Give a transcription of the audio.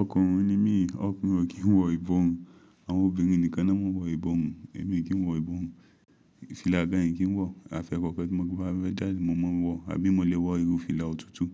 Ọkùnrin ni mí, ọkùnrin o kí n wọ iborun, àwọn obìnrin nìkan na máa ń wọ iborun. Èmi kíi wọ ìbọmù. Fìlà gan n kí n wọ, afi ẹẹkọkan ti n ba fẹ jáde, mo máa wọ, àbí mo lè wọ irú fìlà òtútù.